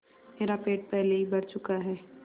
मेरा पेट पहले ही भर चुका है